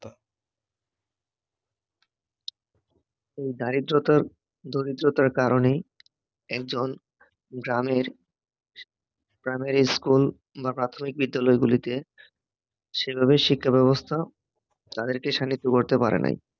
দারিদ্রতা, দরিদ্রতার কারণে একজন গ্রামের, গ্রামের স্কুল বা প্রাথমিক বিদ্যালয়গুলোতে সেভাবে শিক্ষাব্যবস্থা তাদেরকে করতে পারে নাই